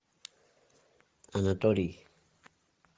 анатолий